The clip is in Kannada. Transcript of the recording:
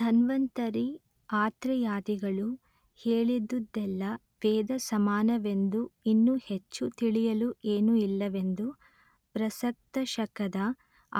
ಧನ್ವಂತರಿ ಆತ್ರೇಯಾದಿಗಳು ಹೇಳಿದುದೆಲ್ಲ ವೇದ ಸಮಾನವೆಂದೂ ಇನ್ನು ಹೆಚ್ಚು ತಿಳಿಯಲು ಏನೂ ಇಲ್ಲವೆಂದೂ ಪ್ರಸಕ್ತಶಕದ